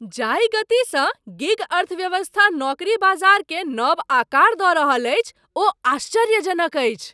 जाहि गतिसँ गिग अर्थव्यवस्था नौकरी बाजारकेँ नव आकार दऽ रहल अछि ओ आश्चर्यजनक अछि।